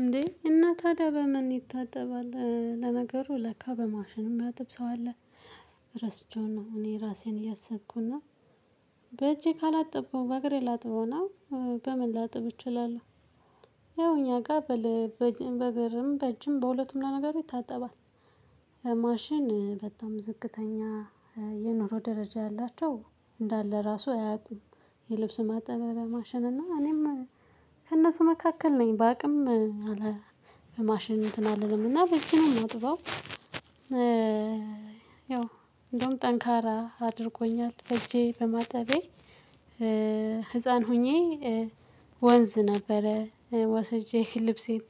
እንዴ እናታድያ በምን ይታጠባል ለነገሩ ለካ በማሽንም ሚያጥብ ሰው አለ። ረስቸው ነው እኔ ራሴን እያሰብኩ እና በእጄ ካላጠብኩ በእግሬ ላጥብ ነው። በምን ላጥብ እችላለሁ። ይኸው እኛ ጋር በእግርም በእጅም በሁለቱም ለነገሩ ይታጠባል። ማሽን በጣም ዝቅተኛ የኑሮ ደረጃ ያላቸው እንዳለ ራሱ አያውቁም። የልብስ ማጠቢያ ማሽንና እኔም ከእነሱ መካከል ነኝ ባቅም አለ። በማሽን እንትን አልልም እና በእጅ ነው ማጥበው። ያው እንደውም ጠንካራ አድርጎኛል በእጄ በማጠቤ። ህፃን ሆኜ ወንዝ ነበረ ወስጄ ልብሴን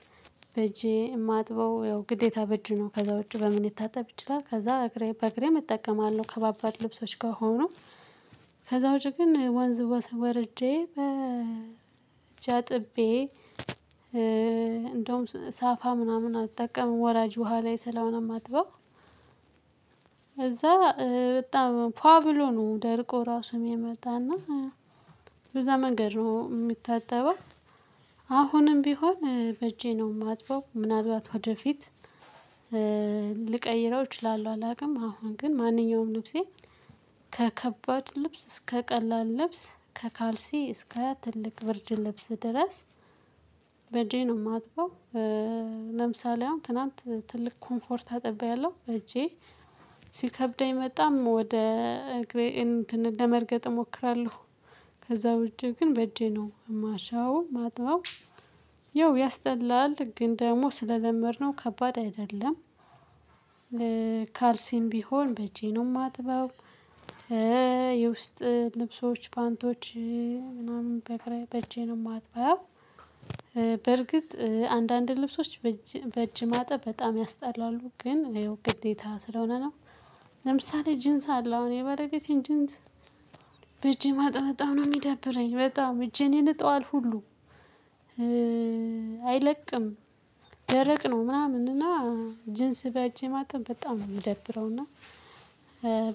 በእጄ የማጥበው ያው ግዴታ በእጅ ነው ከዛ ውጪ በምን ሊታጠብ ይችላል። ከዛ በእግሬ እጠቀማለሁ ከባባድ ልብሶች ከሆኑ ከዛ ውጪ ግን ወንዝ ወርጄ በእጃ አጥቤ እንደውም ሳፋ ምናምን አልጠቀምም ወራጅ ውሃ ላይ ስለሆነ የማጥበው። እዛ በጣም ፏ ብሎ ነው ደርቆ ራሱን የመጣና በዛ መንገድ ነው የሚታጠበው። አሁንም ቢሆን በእጄ ነው የማጥበው ምናልባት ወደፊት ልቀይረው እችላለሁ አላውቅም። አሁን ግን ማንኛውም ልብሴን ከከባድ ልብስ እስከ ቀላል ልብስ ከካልሲ እስከ ትልቅ ብርድ ልብስ ድረስ በእጄ ነው የማጥበው። ለምሳሌ አሁን ትናንት ትልቅ ኮምፎርት አጥብቤያለሁ በእጄ ሲከብደኝ በጣም ወደ እግሬ እንትን ለመርገጥ እሞክራለሁ። ከዛ ውጪ ግን በእጄ ነው ማሸው ማጥበው። ያው ያስጠላል ግን ደግሞ ስለለመድነው ከባድ አይደለም። ካልሲም ቢሆን በእጄ ነው ማጥበው። የውስጥ ልብሶች ፓንቶች ምናምን በእጄ ነው የማጥበው። በርግጥ አንዳንድ ልብሶች በእጅ ማጠብ በጣም ያስጠላሉ ግን ግዴታ ስለሆነ ነው። ለምሳሌ ጂንስ አለው አሁን የባለቤቴን ጂንስ በእጄ ማጠብ ነው የሚደብረኝ በጣም እጄን ይልጠዋል ሁሉ። አይለቅም። ደረቅ ነው ምናምን እና ጅንስ በእጄ ማጠብ በጣም ነው የምደብረው እና።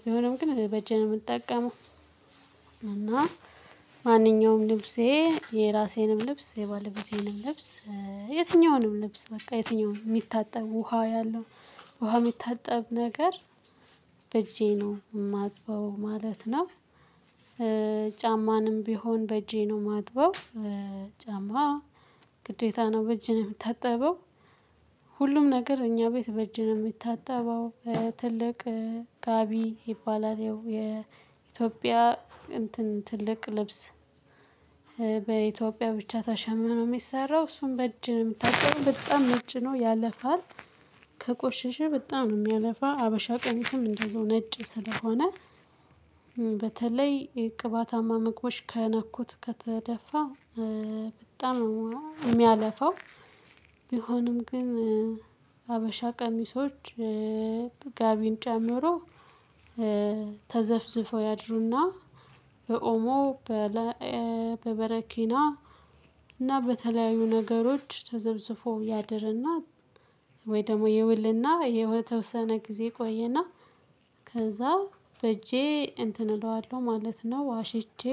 ቢሆንም ግን በእጄ ነው የምጠቀመው። እና ማንኛውም ልብሴ የራሴንም ልብስ የባልቤቴንም ልብስ የትኛውንም ልብስ በቃ የትኛውንም የሚታጠብ ውሃ ያለው ውሃ የሚታጠብ ነገር በእጄ ነው የማጥበው ማለት ነው። ጫማንም ቢሆን በእጄ ነው የማጥበው። ጫማ ግዴታ ነው በእጅ ነው የሚታጠበው። ሁሉም ነገር እኛ ቤት በእጅ ነው የሚታጠበው። ትልቅ ጋቢ ይባላል ያው የኢትዮጵያ እንትን ትልቅ ልብስ በኢትዮጵያ ብቻ ተሸምኖ የሚሰራው እሱን በእጅ የምታጠበው በጣም ነጭ ነው ያለፋል። ከቆሸሸ በጣም ነው የሚያለፋ ሀበሻ ቀሚስም እንደውም ነጭ ስለሆነ በተለይ የቅባታማ ምግቦች ከነኩት ከተደፋ በጣም የሚያለፈው። ቢሆንም ግን ሀበሻ ቀሚሶች ጋቢን ጨምሮ። ተዘፍዝፈው ያድሩና በኦሞ በበረኪና እና በተለያዩ ነገሮች ተዘፍዝፎ ያድርና ወይ ደግሞ ይውልና የተወሰነ ጊዜ ይቆየና ከዛ በእጄ እንትን እለዋለሁ ማለት ነው አሽቼ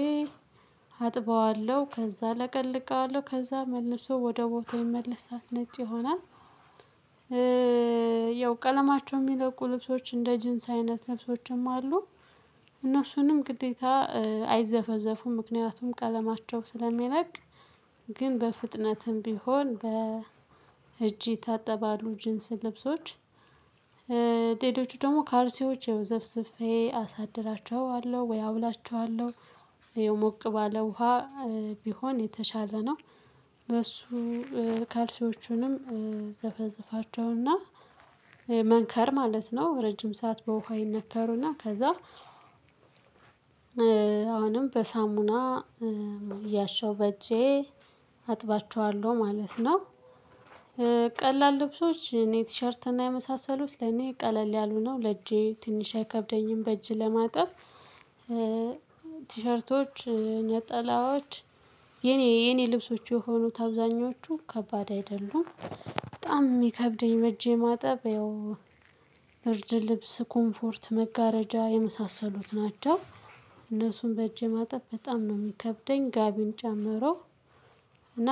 አጥበዋለሁ ከዛ ለቀልቀዋለሁ ከዛ መልሶ ወደ ቦታው ይመለሳል ነጭ ይሆናል። ያው ቀለማቸው የሚለቁ ልብሶች እንደ ጂንስ አይነት ልብሶችም አሉ። እነሱንም ግዴታ አይዘፈዘፉም ምክንያቱም ቀለማቸው ስለሚለቅ። ግን በፍጥነትም ቢሆን በ እጅ ይታጠባሉ ጅንስ ልብሶች። ሌሎቹ ደግሞ ካልሲዎች ዘፍዝፌ አሳድራቸዋለሁ ወይ አውላቸዋለሁ። ሞቅ ባለ ውሃ ቢሆን የተሻለ ነው። በሱ ካልሲዎቹንም ዘፈዝፋቸውና መንከር ማለት ነው ረጅም ሰዓት በውሃ ይነከሩና ከዛ አሁንም በሳሙና እያሻሁ በእጄ አጥባቸዋለሁ ማለት ነው። ቀላል ልብሶች እኔ ቲሸርት እና የመሳሰሉት ለኔ ቀለል ያሉ ነው ለእጄ ትንሽ አይከብደኝም በእጅ ለማጠብ። ቲሸርቶች ነጠላዎች የኔ የኔ ልብሶች የሆኑት አብዛኞቹ ከባድ አይደሉም። በጣም የሚከብደኝ በእጀ ማጠብ ያው ብርድ ልብስ ኮምፎርት መጋረጃ የመሳሰሉት ናቸው። እነሱን በእጄ ማጠብ በጣም ነው የሚከብደኝ ጋቢን ጨምሮ። እና